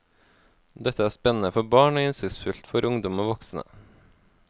Dette er spennende for barn og innsiktsfullt for ungdom og voksne.